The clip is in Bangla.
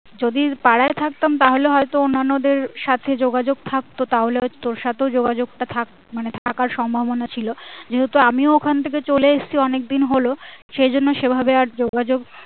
যদি পাড়ায় থাকতাম তাহলে হয়তো অন্যান্য দের সাথে যোগাযোগ থাকতো তাহলে তোর সাথেও যোগাযোগ টা থাকতো মানে থাকার সম্ভাবনা ছিল যেহেতু আমিও ওখান থেকে চলে এসেছি অনেক দিন হলো সে জন্য সেভাবে আর যোগাযোগ